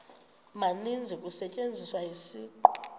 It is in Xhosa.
maninzi kusetyenziswa isiqu